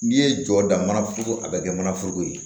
N'i ye jɔ da mana foroko a bɛ kɛ mana foroko ye